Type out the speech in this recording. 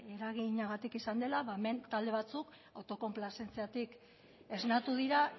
eraginagatik izan dela ba hemen talde batzuk autokonplazentziatik esnatu dira